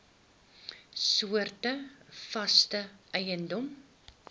soorte vaste eiendom